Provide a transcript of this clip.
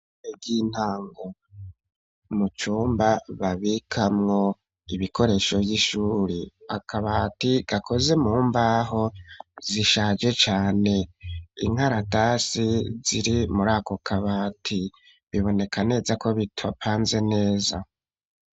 Eryintango mucumba babikamwo ibikoresho vy'ishuri akabati gakoze mu mbaho zishaje cane inkaratasi ziri muri ako kabati biboneka neza ko bitwapanze neza.